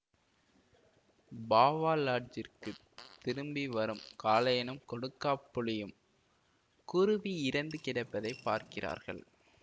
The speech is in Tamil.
பாவா லாட்ஜிற்க்கு திரும்பி வரும் காளையனும் கொடுக்காப்புளியும் குருவி இறந்து கிடப்பதை பார்க்கிறார்கள்